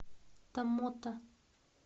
томмота